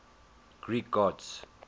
greek gods